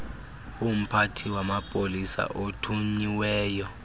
yomphathi wamapolisa othunyiweyo